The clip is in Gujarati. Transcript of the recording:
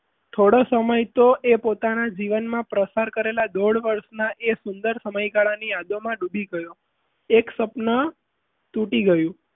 થોડા સમય તો એ પોતાના જીવનમાં પસાર કરેલા એ દોઢ વર્ષના એ સુંદર સમયગાળાની આજુબાજુ ડૂબી ગયો એક સપના તૂટી ગયું.